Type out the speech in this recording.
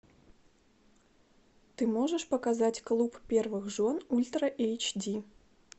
ты можешь показать клуб первых жен ультра эйч ди